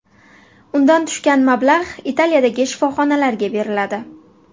Undan tushgan mablag‘ Italiyadagi shifoxonalarga beriladi.